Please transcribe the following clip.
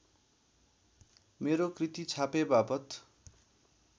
मेरो कृति छापेबापत्